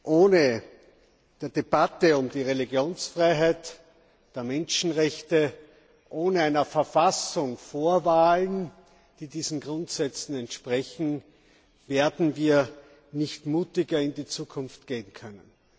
Ohne eine Debatte um die Religionsfreiheit und die Menschenrechte, ohne eine Verfassung vor Wahlen, die diesen Grundsätzen entsprechen, werden wir nicht mutiger in die Zukunft gehen können.